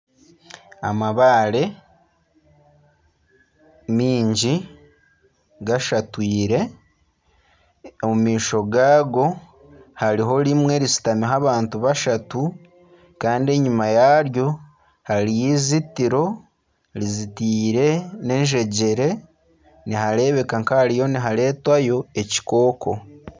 Amabaare maingi gashatwiire omu maisho gaago hariho rimwe rishutamiho abantu bashatu. Kandi enyima yaryo hariyo izitiro rizitiire n'enjegyere nihareebeka nka hariyo nihareetwayo ekikooko.